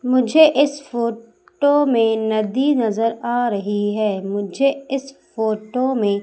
मुझे इस फोटो में नदी नजर आ रही है मुझे इस फोटो में--